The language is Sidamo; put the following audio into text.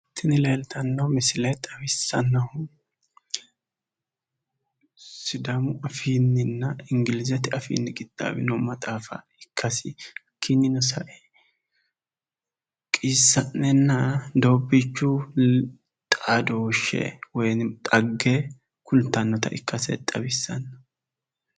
Tini misile xawissannohu sidaamu afiinnina ingilizete afiinni qixaawino maxaafa ikkasi, hakiinnino sae qiissa'nenna doobbiichu xaadooshshe woyi xagge kultannota ikkase xawissanno.